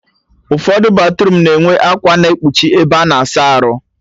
Ụfọdụ batruum na-enwe akwa na-ekpuchi ebe a na-asa arụ